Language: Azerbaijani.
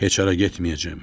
Heç hara getməyəcəm.